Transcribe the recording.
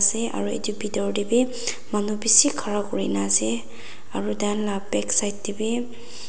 se aru etu bitor te bhi manu bishi khara kori kena ase aru taikhan laga back side tebhi.